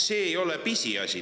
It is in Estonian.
See ei ole pisiasi.